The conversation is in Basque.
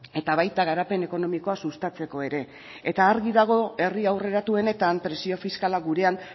eta baita garapen ekonomikoa sustatzeko ere eta argi dago herri aurreratuenetan presio fiskala gurean